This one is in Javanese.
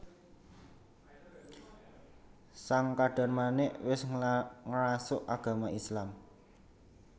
Sang Kadarmanik wis ngrasuk agama Islam